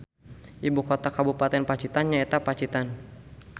Ibu kota kabupaten Pacitan nyaeta Pacitan